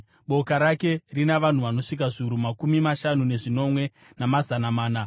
Boka rake rina vanhu vanosvika zviuru makumi mashanu nezvinomwe, namazana mana.